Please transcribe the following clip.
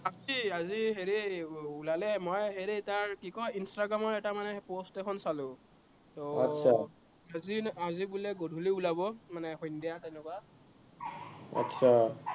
আজি হেৰি, ওলালে মই হেৰি তাৰ, কি কয়, instagram ৰ এটা মানে post এখন চালো। তো আজি বোলে গধুলি ওলাব, মানে সন্ধ্যা তেনেকুৱা। आतछा